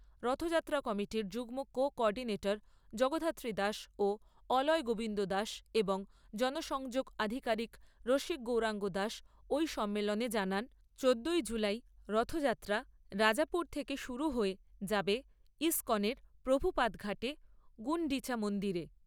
রথযাত্রা কমিটির যুগ্ম coordinator Jagaddhatri Das ও অলয় গোবিন্দ দাস এবং জনসংযোগ আধিকারিক রসিক গৌরাঙ্গ দাস ওই সম্মেলনে জানান, চোদ্দোই জুলাই রথযাত্রা রাজাপুর থেকে শুরু হয়ে যাবে ইস্কনের প্রভুপাদ ঘাটে গুণ্ডিচা মন্দিরে।